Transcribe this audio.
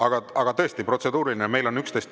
Aga siis tõesti protseduuriline!